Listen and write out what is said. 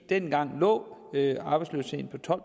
dengang lå arbejdsløsheden på tolv